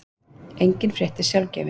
engin frétt er sjálfgefin